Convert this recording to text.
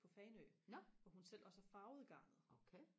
på fanø hvor hun selv også har farvet garnet